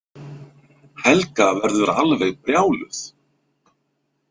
Helga verður alveg brjáluð.